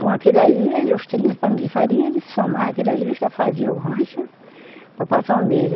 Com aquilo ali, ele os trinta de farinha, ele somava aquilo ali e já fazia o rancho para passar um mês.